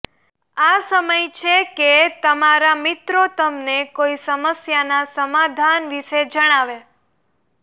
આ સમયે છે કે તમારા મિત્રો તમને કોઈ સમસ્યાના સમાધાન વિશે જણાવે